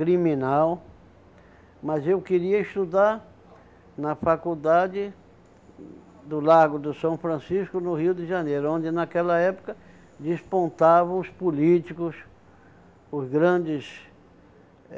criminal, mas eu queria estudar na faculdade do Largo do São Francisco, no Rio de Janeiro, onde naquela época despontavam os políticos, os grandes